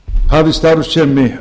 hafið starfsemi